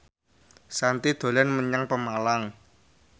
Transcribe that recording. Shanti dolan menyang Pemalang